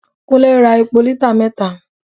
Kunle ra epo lítà mẹta.